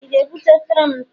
ị ga-ebute efere m taa?